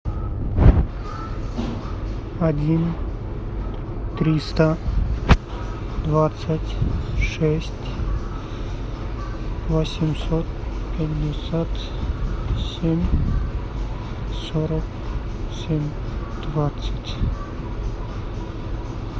один триста двадцать шесть восемьсот пятьдесят семь сорок семь двадцать